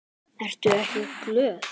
Ertu ekki glöð?